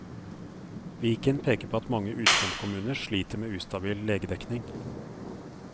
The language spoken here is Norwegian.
Viken peker på at mange utkantkommuner sliter med ustabil legedekning.